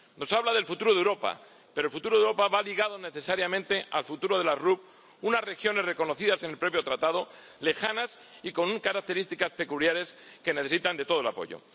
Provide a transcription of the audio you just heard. Nos habla del futuro de Europa, pero el futuro Europa va ligado necesariamente al futuro de las RUP, unas regiones reconocidas en el propio Tratado, lejanas y con características peculiares, que necesitan de todo el apoyo.